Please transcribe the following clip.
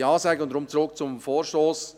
Deswegen zurück zum Vorstoss: